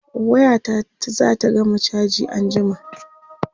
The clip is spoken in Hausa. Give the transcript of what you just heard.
waya ta zata gama chaji anjima